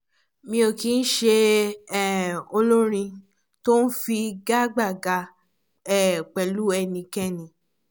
mi ò kì ń ṣe um olórin tó ń figagbága um pẹ̀lú ẹnikẹ́ni